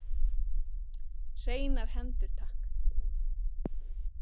Hreinar hendur takk!